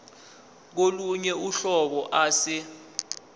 kolunye uhlobo ase